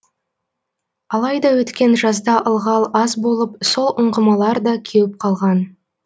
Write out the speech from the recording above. алайда өткен жазда ылғал аз болып сол ұңғымалар да кеуіп қалған